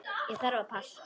Ég þarf að passa.